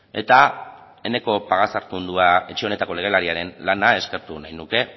eta eneko pagazartundua etxe honetako legelariaren lana eskertu nahi nuke